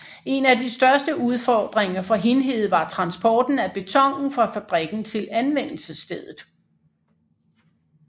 En af de største udfordringer for Hindhede var transporten af betonen fra fabrikken til anvendelsesstedet